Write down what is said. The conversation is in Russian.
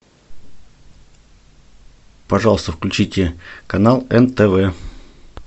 пожалуйста включите канал нтв